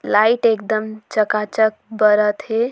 लाइट एकदम चकाचक बरत हे।